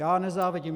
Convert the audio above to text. Já nezávidím.